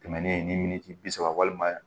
Tɛmɛnen ni min tɛ bi saba walima